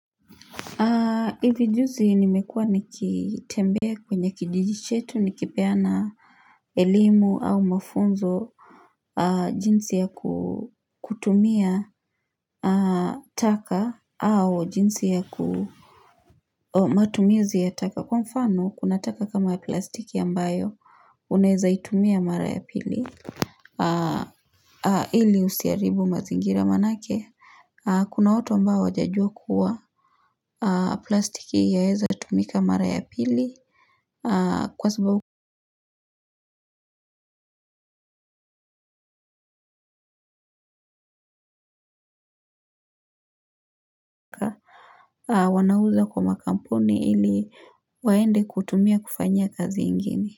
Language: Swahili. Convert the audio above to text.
Hivi juzi nimekua nikitembea kwenye kijiji chetu nikipeana elimu au mafunzo. Jinsi ya kutumia taka au jinsi ya matumizi ya taka. Kwa mfano kuna taka kama ya plastiki ambayo unaeza itumia mara ya pili. Ili usiaribu mazingira manake kuna watu ambao wajajua kuwa plastiki yaeza tumika mara ya pili kwa sababu wanauza kwa makampuni ili waende kutumia kufanya kazi ingine.